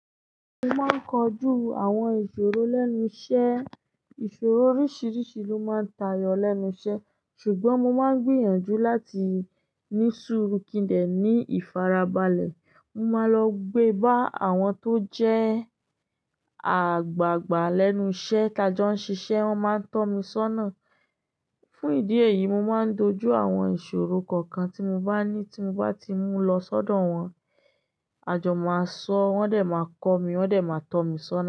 Mo máa ń kojú àwọn ìṣòro lẹ́nu iṣẹ́. Ìṣòro oríṣìríṣì ló máa ń tayọ lẹ́nu iṣẹ́, ṣùgbọ́n mo máa ń gbìyànjú láti ní suurú kín dẹ̀ ní ìfarabalẹ̀. Mo máa lọ gbé bá àwọn tó jẹ́ àgbàgbà lẹ́nu iṣẹ́ tajọ́ ń ṣiṣẹ́, wọ́n máa ń tọ́ mi sọ́nà. Fún ìdí èyí, mo máa ń dojú àwọn ìṣòro kankan tí mo bá ní tí mo bá ti mú lọ sọ́dọ̀ wọn. Ajò máa sọ, wọ́n dé máa kọ́ mi, wọ́n dé máa tọ́ mi sọ́nà.